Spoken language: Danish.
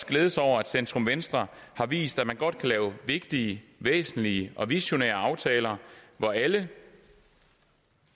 glæde sig over at centrum venstre har vist at man godt kan lave vigtige væsentlige og visionære aftaler hvor alle